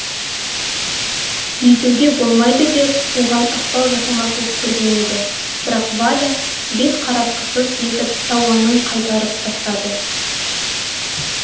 бүйтуге болмайды деп оған ықпал жасамақ боп көрген еді бірақ валя бет қаратқысыз етіп тауанын қайтарып тастады